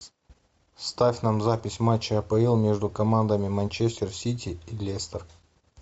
ставь нам запись матча апл между командами манчестер сити и лестер